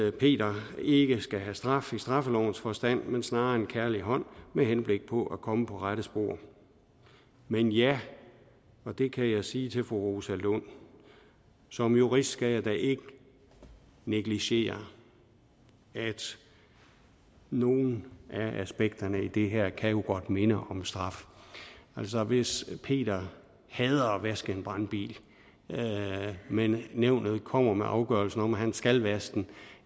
at peter ikke skal have straf i straffelovens forstand men snarere en kærlig hånd med henblik på at komme på rette spor men ja og det kan jeg sige til fru rosa lund som jurist skal jeg da ikke negligere at nogle af aspekterne i det her jo godt kan minde om straf altså hvis peter hader at vaske en brandbil men nævnet kommer med afgørelsen om at han skal vaske den